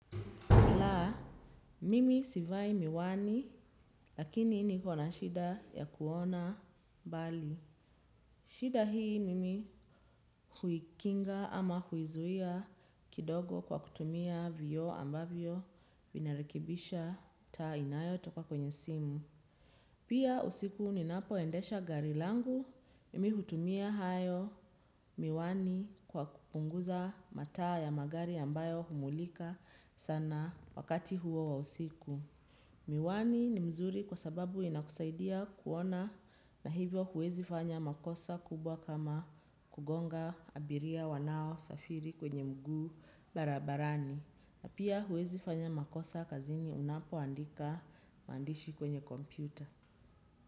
La, mimi sivai miwani, lakini niko na shida ya kuona mbali. Shida hii mimi huikinga ama huizuia kidogo kwa kutumia vioo ambavyo vinarekebisha taa inayotoka kwenye simu. Pia usiku ninapoendesha gari langu, mimi hutumia hayo miwani kwa kupunguza mataa ya magari ambayo humulika sana wakati huo wa usiku. Miwani ni mzuri kwa sababu inakusaidia kuona na hivyo huwezi fanya makosa kubwa kama kugonga abiria wanaosafiri kwenye mguu barabarani na pia huwezi fanya makosa kazini unapoandika maandishi kwenye kompyuta.